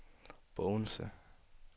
Bogense